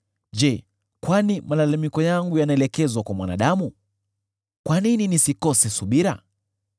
“Je, kwani malalamiko yangu yanaelekezwa kwa mwanadamu? Kwa nini nisikose subira?